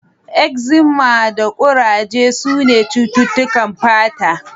Ekzima da kuraje sune cututtukan fata.